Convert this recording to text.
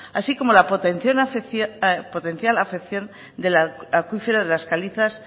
así como la potencial afección del acuífero de las calizas